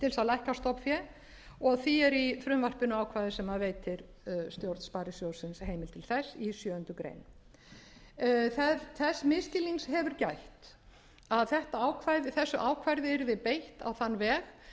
lækka stofnfé og því er í frumvarpinu ákvæði sem veitir stjórn sparisjóðsins heimild til þess í sjöundu greinar þess misskilnings hefur gætt að þessu ákvæði yrði beitt á þann veg